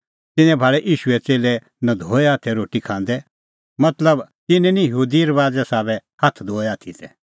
तिन्नैं भाल़ै ईशूए च़ेल्लै नधोऐ हाथै रोटी खांदै